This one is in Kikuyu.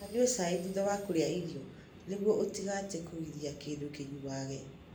Ndũkananyue cai thutha wa kũrĩa irio nĩguo ũtigate kũgiria kĩndũ kĩnyuage.